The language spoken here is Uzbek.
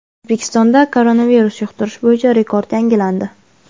O‘zbekistonda koronavirus yuqtirish bo‘yicha rekord yangilandi.